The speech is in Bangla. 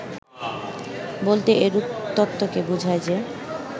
বলতে এরূপ তত্ত্বকে বোঝায় যে